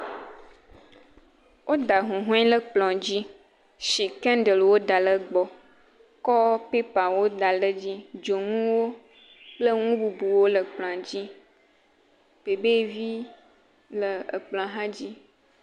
O da huhɔ̃e le kplɔ̃ dzi, shi kendel wo da le gbɔ, kɔ pepawo da le dzi, dzoŋuwo kple ŋu bubuwo le kplɔ̃a dzi, bebe vi le ekplɔ̃a hã dzi.